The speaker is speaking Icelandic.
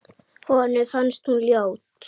Honum fannst hún ljót.